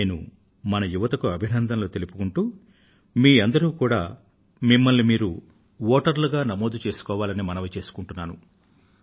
నేను మన యువతకు అభినందనలు తెలియజేస్తూ మీ అందరూ కూడా మిమ్మల్ని మీరు వోటర్లు గా నమోదు చేసుకోవాలని మనవి చేసుకుంటున్నాను